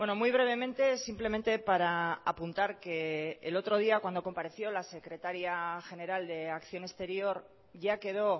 muy brevemente simplemente para apuntar que el otro día cuando compareció la secretaria general de acción exterior ya quedó